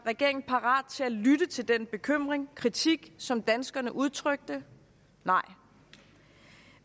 regeringen parat til at lytte til den bekymring og kritik som danskerne udtrykte nej